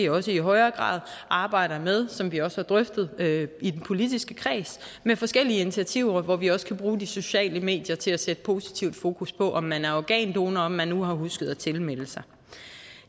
også i højere grad arbejde med som vi også har drøftet i den politiske kreds forskellige initiativer hvor vi også kan bruge de sociale medier til at sætte positivt fokus på om man er organdonor og om man nu har husket at tilmelde sig